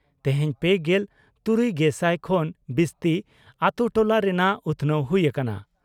ᱛᱮᱦᱮᱧ ᱯᱮᱜᱮᱞ ᱛᱩᱨᱩᱭᱜᱮᱥᱟᱭ ᱠᱷᱚᱱ ᱵᱤᱥᱛᱤ ᱟᱛᱳ ᱴᱚᱞᱟ ᱨᱮᱱᱟᱜ ᱩᱛᱷᱱᱟᱹᱣ ᱦᱩᱭ ᱟᱠᱟᱱᱟ ᱾